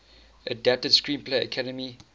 adapted screenplay academy